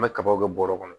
An bɛ kabaw kɛ bɔrɛ kɔnɔ